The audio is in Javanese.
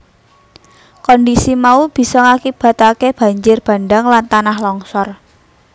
Kondhisi mau bisa ngakibataké banjir bandhang lan tanah longsor